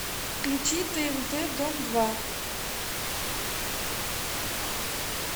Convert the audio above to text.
включи тнт дом два